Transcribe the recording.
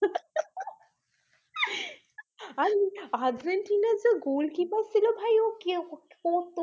আর আর্জেন্টিনার যে গোলকিপার ছিল ভাই ও কে?